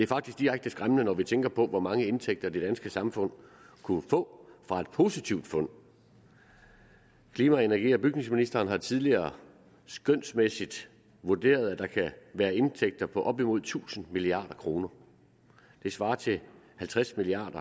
faktisk direkte skræmmende når vi tænker på hvor mange indtægter det danske samfund kunne få fra et positivt fund klima energi og bygningsministeren har tidligere skønsmæssigt vurderet at der kan være indtægter på op imod tusind milliard kroner det svarer til halvtreds milliard